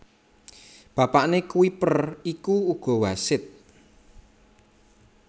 Bapakné Kuiper iku uga wasit